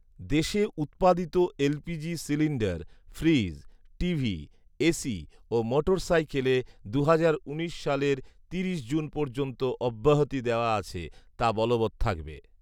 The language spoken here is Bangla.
দেশে উৎপাদিত LPG cylinder, fridge, TV, AC ও মোটরসাইকেলে দুহাজার উনিশ সালের তিরিশ জুন পর্যন্ত অব্যাহতি দেয়া আছে, তা বলবৎ থাকবে